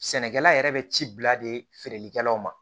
Sɛnɛkɛla yɛrɛ bɛ ci bila de feereli kɛlaw ma